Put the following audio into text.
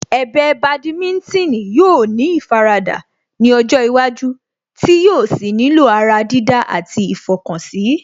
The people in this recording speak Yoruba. Ẹ̀bẹ̀ Badminton yóò ní ìfaradà ní ọjọ́ iwájú tí yóò sì nílò ará dídá àti ìfọkànsí